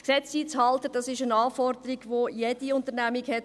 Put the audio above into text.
Gesetze einzuhalten ist eine Anforderung, die jede Unternehmung hat.